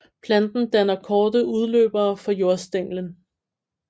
Planten danner korte udløbere fra jordstænglen